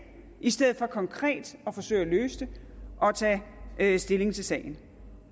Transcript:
i stedet for konkret at forsøge at løse det og tage stilling til sagen